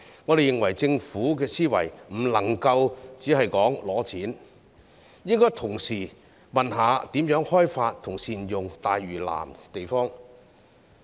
我們認為政府的思維不能夠只是申請撥款，應該同時詢問如何開發和善用大嶼南的地方。